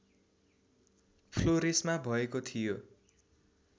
फ्लोरेसमा भएको थियो